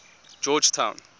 georgetown